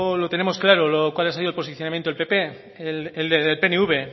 lo tenemos claro cuál ha sido el posicionamiento del pp el del pnv